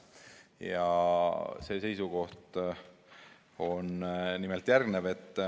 Ja see seisukoht on järgmine.